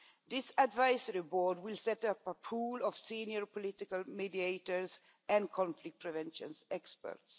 This advisory board will set up a pool of senior political mediators and conflict prevention experts.